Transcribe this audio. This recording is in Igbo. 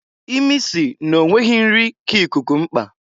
Imi si n'onweghi nri ka ikuku mkpa.